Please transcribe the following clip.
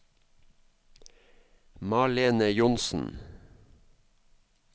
Malene Johnsen